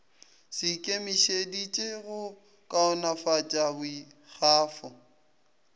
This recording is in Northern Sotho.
se ikemišeditše go kaonafatša boikgafo